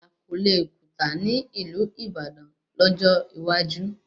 Àmàlà kò le kùtà ní ìlú Ìbàdàn lọ́jọ́ iwájú